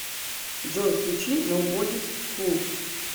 джой включи ноубодис фул